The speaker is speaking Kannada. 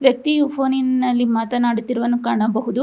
ವ್ಯಕ್ತಿಯು ಫೋನಿ ನಲ್ಲಿ ಮಾತನಾಡುತ್ತಿರುವನ್ನು ಕಾಣಬಹುದು.